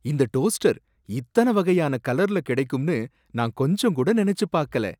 இந்த டோஸ்டர் இத்தன வகையான கலர்ல கிடைக்கும்னு நான் கொஞ்சங்கூட நனைச்சு பாக்கல